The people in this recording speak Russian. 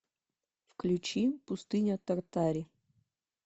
включи пустыня тартари